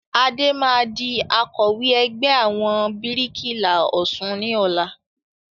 Adé máa di Akọ̀wẹ́ ẹgbẹ́ àwọn bíríkìlà Ọ̀sun ni ọ̀la